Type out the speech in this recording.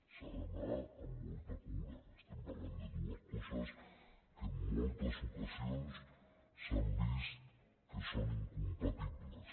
s’ha d’anar amb molta cura estem parlant de dues coses que en moltes ocasions s’ha vist que són incompatibles